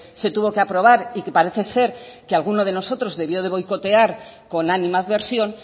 se tuvo que aprobar y que parece ser que alguno de nosotros debió de boicotear con animadversión